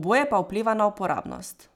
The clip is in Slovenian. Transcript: oboje pa vpliva na uporabnost.